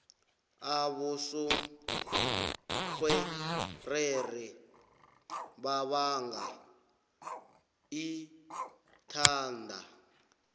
abosontjherere babanga ithada